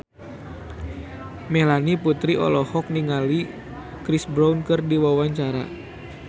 Melanie Putri olohok ningali Chris Brown keur diwawancara